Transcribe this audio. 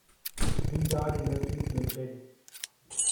V guard industries limited